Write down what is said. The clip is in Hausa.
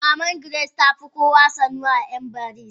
Maman Grace tafi kowa sanuwa a mbaise.